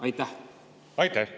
Aitäh!